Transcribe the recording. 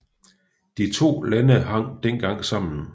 De to lande hang dengang sammen